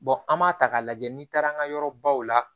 an b'a ta k'a lajɛ n'i taara an ka yɔrɔbaw la